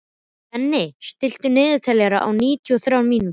Denni, stilltu niðurteljara á níutíu og þrjár mínútur.